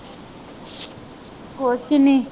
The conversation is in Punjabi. ਕੁੱਛ ਨਹੀਂ,